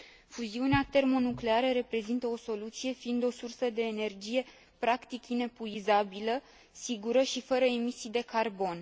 Fuziunea termonucleară reprezintă o soluție, fiind o sursă de energie practic inepuizabilă, sigură și fără emisii de carbon.